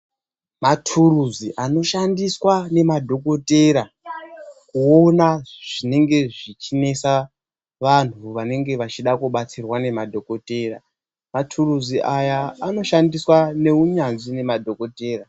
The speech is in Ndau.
Mathuruzi anoshandiswa nemadhokotera, kuona zvinenge zvichinesa vanthu vanenge vachida kubatsirwa nemadhokothera. Mathuruzi aya anoshandiswa neunyanzvi nemadhokodhera.